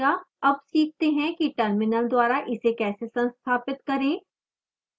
अब सीखते हैं कि terminal द्वारा इसे कैसे संस्थापित करें